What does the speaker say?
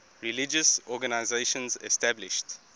religious organizations established